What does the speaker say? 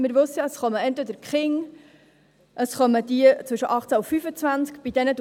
Wie wir wissen, kommen entweder Kinder, oder es kommen jene zwischen 18 bis 25.